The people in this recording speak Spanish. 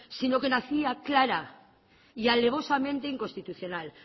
sino que nacía clara y alevosamente inconstitucional